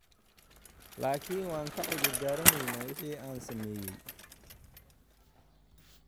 Laakiin waan ka cudur daaranayaa wixii aan sameeyay.